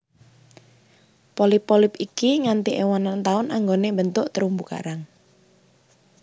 Polip polip iki nganti ewonan taun anggone mbentuk terumbu karang